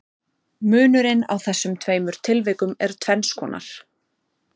Munurinn á þessum tveimur tilvikum er tvenns konar.